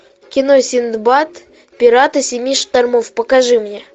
кино синдбад пираты семи штормов покажи мне